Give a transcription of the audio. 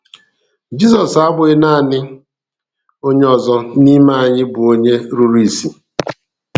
Jisọs abụghị naanị onye ọzọ n’ime anyị bụ onye rụrụ isi.